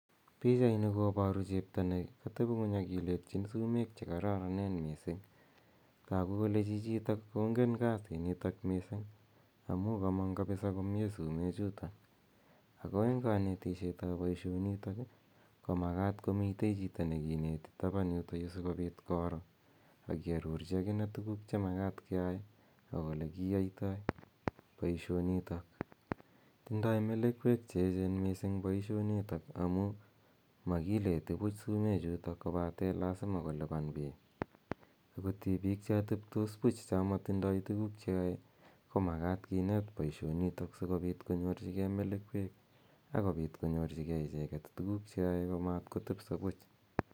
Pichaini koparu chepto ne katepi ng'uny akiletchin sumeek che kararanen missing'. Tagu kole chichitok kongen kasinitok missing' amu kamang' kapisa komye sumechutok , ako eng' kanetishet ap poishonitok ko makat komitei chito ne kineti tapan yutayu si kopiit koro akiarorchi akine tuguuk che makat keyae ak ole kiyaitai poishonitok. Tindai melekwek che echen missing' poishonitok amu makileti puch sumechutok kopate lasima kolipan piik. Tipiik cha tepitos puch cha matindai tuguuk che yae ko makat kineet poishonitok si kopit konyorchigei melekwek akopit konyorchigei icheget tuguuk che yae komatkotepisa puch